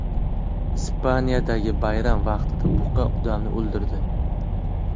Ispaniyadagi bayram vaqtida buqa odamni o‘ldirdi.